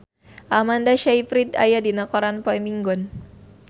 Amanda Sayfried aya dina koran poe Minggon